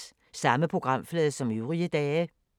Samme programflade som øvrige dage